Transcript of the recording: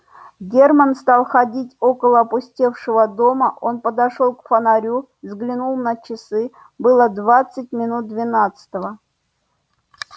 германн стал ходить около опустевшего дома он подошёл к фонарю взглянул на часы было двадцать минут двенадцатого